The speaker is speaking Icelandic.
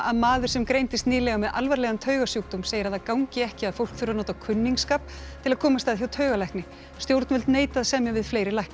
maður sem greindist nýlega með alvarlegan segir að það gangi ekki að fólk þurfi að nota kunningsskap til að komast að hjá taugalækni stjórnvöld neita að semja við fleiri lækna